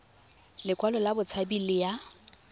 lekwalo la botshabi le ya